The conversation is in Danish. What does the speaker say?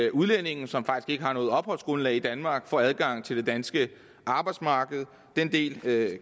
at udlændinge som faktisk ikke har noget opholdsgrundlag i danmark får adgang til det danske arbejdsmarked den del af